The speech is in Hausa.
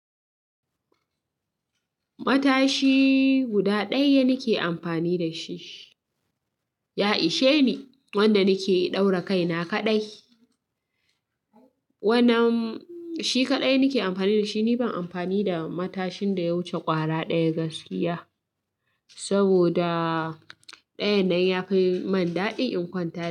Matashi guda ɗaya nake amfani da shi. Ya isheni wanda nake ɗaura kaina kaɗai. Wannan shi kaɗai nake amfani da shi, ni ban amfani da matashin da ya wuce ƙwara ɗaya gaskiya. Saboda ɗayan nan ya fi mun daɗi in kwanta.